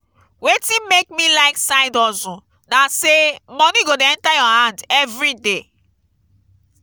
wetin make me like side hustle na sey moni go dey enta your hand everyday.